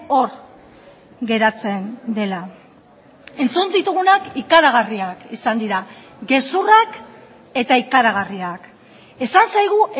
hor geratzen dela entzun ditugunak ikaragarriak izan dira gezurrak eta ikaragarriak esan zaigu